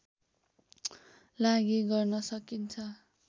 लागि गर्न सकिन्छ